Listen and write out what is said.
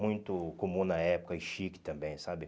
Muito comum na época e chique também, sabe?